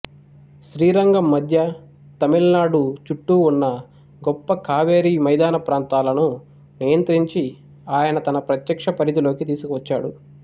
శ్రీరంగం మధ్య తమిళనాడు చుట్టూ ఉన్న గొప్ప కావేరి మైదాన ప్రాంతాలను నియంత్రించి ఆయన తన ప్రత్యక్ష పరిధిలోకి తీసుకువచ్చాడు